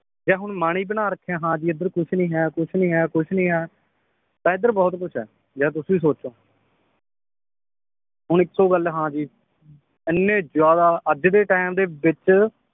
ਜੇ ਹੁਣ ਮਨ ਈ ਬਣਾ ਰੱਖਿਆ ਹਾਂ ਬੀ ਏਧਰ ਕੁਛ ਨਈ ਹੈ ਕੁਛ ਨਈ ਹੈ ਕੁਛ ਨਈ ਹੈ ਤਾਂ ਏਧਰ ਬਹੁਤ ਕੁਛ ਹੈ ਯਾਰ ਤੁਸੀ ਸੋਚੋ ਹੁਣ ਇੱਕੋ ਗੱਲ ਹਾਂ ਜੀ ਇੰਨੇ ਜ਼ਿਆਦਾ ਅੱਜ ਦੇ ਟਾਈਮ ਦੇ ਵਿਚ